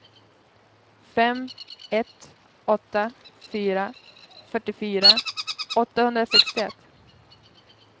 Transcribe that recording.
fem ett åtta fyra fyrtiofyra åttahundrasextioett